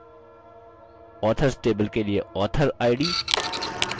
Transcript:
authors table के लिए authorid